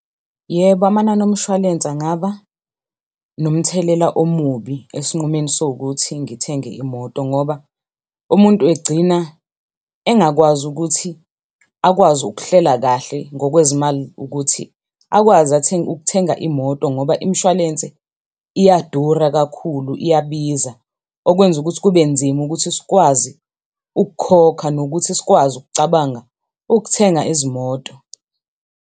Yebo, amanani omshwalense angaba nomthelela omubi esinqumeni sowukuthi ngithenge imoto ngoba umuntu egcina engakwazi ukuthi akwazi ukuhlela kahle ngokwezimali ukuthi akwazi athenge, ukuthenga imoto ngoba imishwalense iyadura kakhulu, iyabiza. Okwenza ukuthi kube nzima ukuthi sikwazi ukukhokha, nokuthi sikwazi ukucabanga ukuthenga izimoto.